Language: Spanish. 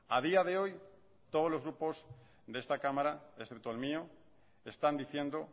a día de hoy todos los grupos de esta cámara excepto el mío están diciendo